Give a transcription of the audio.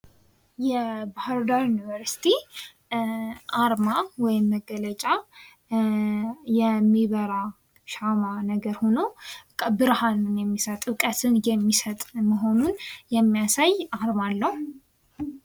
የባህር ዳር ዩኒቨርስቲ አርማ ወይም መገለጫ የሚበራ ሻማ ነገር ሆኖ ብርሃኑን የሚሰጥ እውቀትን የሚሰጥ መሆኑን የሚያሳይ አርማ አለው።